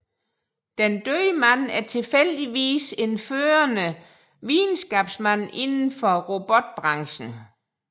Den døde mand er tilfældigvis en førende videnskabsmand indenfor robotbranchen